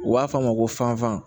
U b'a f'a ma ko fanfan